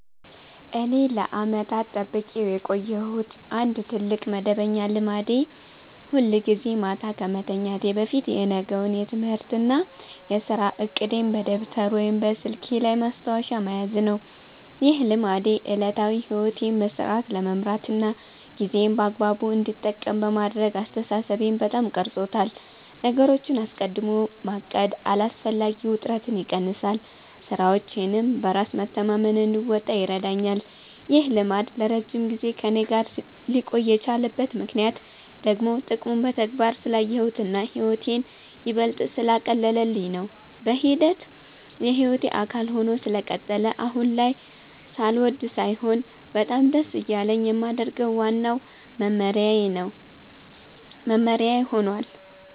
እኔ ለዓመታት ጠብቄው የቆየሁት አንድ ትልቅ መደበኛ ልማዴ ሁልጊዜ ማታ ከመተኛቴ በፊት የነገውን የትምህርትና የሥራ ዕቅዴን በደብተር ወይም በስልኬ ላይ ማስታወሻ መያዝ ነው። ይህ ልማዴ ዕለታዊ ሕይወቴን በሥርዓት ለመምራትና ጊዜዬን በአግባቡ እንድጠቀም በማድረግ አስተሳሰቤን በጣም ቀርጾታል። ነገሮችን አስቀድሞ ማቀድ አላስፈላጊ ውጥረትን ይቀንሳል፤ ሥራዎቼንም በራስ መተማመን እንድወጣ ይረዳኛል። ይህ ልማድ ለረጅም ጊዜ ከእኔ ጋር ሊቆይ የቻለበት ምክንያት ደግሞ ጥቅሙን በተግባር ስላየሁትና ሕይወቴን ይበልጥ ስላቀለለልኝ ነው። በሂደት የሕይወቴ አካል ሆኖ ስለቀጠለ አሁን ላይ ሳልወድ ሳይሆን በጣም ደስ እያለኝ የማደርገው ዋናው መመሪያዬ ሆኗል።